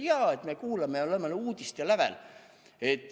Inimesed ütlevad, et jaa, me kuulame uudiseid.